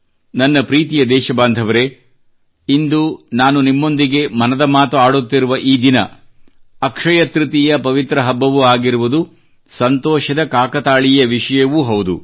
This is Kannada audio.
ನನ್ನ ಪ್ರೀತಿಯ ದೇಶಬಾಂಧವರೇ ಇಂದು ನಾನು ನಿಮ್ಮೊಂದಿಗೆ ಮನದ ಮಾತುಆಡುತ್ತಿರುವ ಈ ದಿನ ಅಕ್ಷಯ ತೃತೀಯ ಪವಿತ್ರ ಹಬ್ಬವೂ ಆಗಿರುವುದು ಸಂತೋಷದ ಕಾಕತಾಳೀಯ ವಿಷಯವೂ ಹೌದು